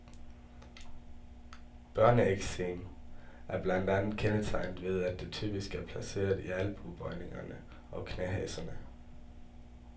Børneeksem er blandt andet kendetegnet ved, at det typisk er placeret i albuebøjningerne og knæhaserne.